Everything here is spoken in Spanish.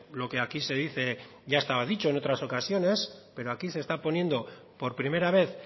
lo que aquí se dice ya estaba dicho en otras ocasiones pero aquí se está poniendo por primera vez